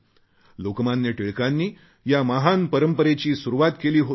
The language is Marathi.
लोकमान्य टिळकांनी या महान परंपरेची सुरुवात केली होती